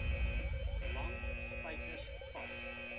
lang spykers vas